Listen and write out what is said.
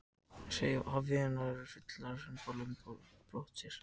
Hafernir eru fullfærir um að hremma lömb og hafa á brott með sér.